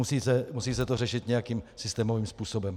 Musí se to řešit nějakým systémovým způsobem.